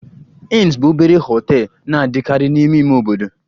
Inns bụ obere hotels na-adịkarị n'ime ime obodo